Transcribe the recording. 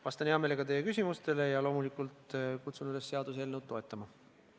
Vastan hea meelega teie küsimustele ja loomulikult kutsun üles seaduseelnõu toetama!